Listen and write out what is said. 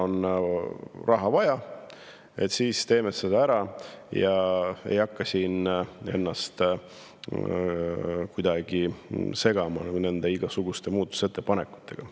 Kuna raha on vaja, siis teeme selle ära ja ei hakka siin ennast kuidagi igasuguste muudatusettepanekutega.